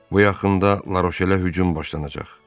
Bu yaxında Laroşelə hücum başlanacaq.